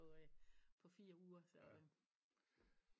På øh på fire uger så